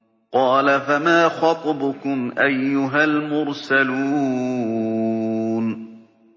قَالَ فَمَا خَطْبُكُمْ أَيُّهَا الْمُرْسَلُونَ